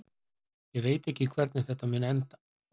Ég veit ekki hvernig þetta mun enda.